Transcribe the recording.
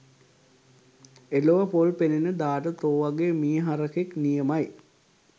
එලොව පොල් පෙනෙන දාට තෝ වගේ මී හරකෙක් නියමයි